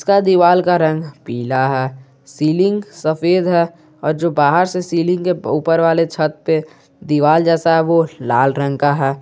का दीवाल का रंग पीला है सीलिंग सफेद है और जो बाहर से सीलिंग के ऊपर वाले छत पे दीवाल जैसा है वो लाल रंग का है।